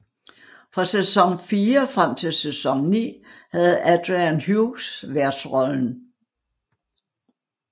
Fra sæson fire frem til sæson ni havde Adrian Hughes værtsrollen